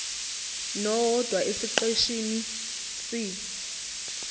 nowodwa esiqeshini c